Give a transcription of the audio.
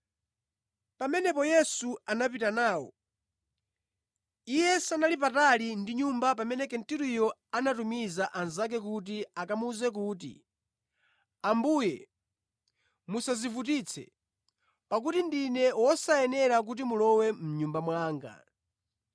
Pamenepo Yesu anapita nawo. Iye sanali patali ndi nyumba pamene Kenturiyo anatumiza anzake kuti akamuwuze kuti, “Ambuye, musadzivutitse, pakuti ndine wosayenera kuti mulowe mʼnyumba mwanga.